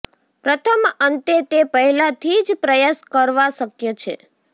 પ્રથમ અંતે તે પહેલાથી જ પ્રયાસ કરવા શક્ય છે